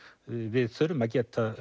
við þurfum að geta